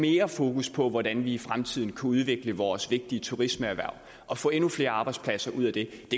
mere fokus på hvordan vi i fremtiden kunne udvikle vores vigtige turismeerhverv og få endnu flere arbejdspladser ud af det